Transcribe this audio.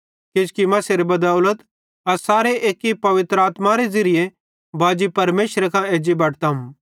किजोकि मसीहेरे बदौलम अस सारे एक्की पवित्र आत्मारे ज़िरिये बाजी परमेशरे कां एज्जी बटतम